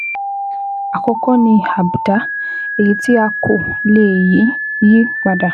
Àkọ́kọ́ ni àbùdá, èyí tí a kò lè yí yí padà